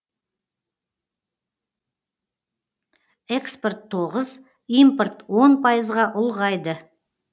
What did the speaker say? экспорт тоғыз импорт он пайызға ұлғайды